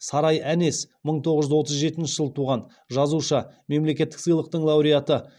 сарай әнес мың тоғыз жүз отыз жетінші жылы туған жазушы мемлекеттік сыйлықтың лауреаты